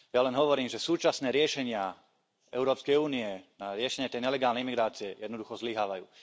Ja len hovorím, že súčasné riešenia Európskej únie na riešenie tej nelegálnej imigrácie jednoducho zlyhávajú.